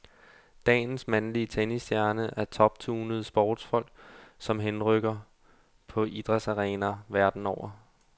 Dagens mandlige tennisstjerner er toptunede sportsfolk, som henrykker på idrætsarenaer verden over.